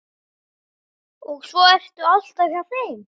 Og svo ertu alltaf hjá þeim.